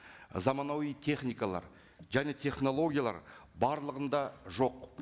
заманауи техникалар және технологиялар барлығында жоқ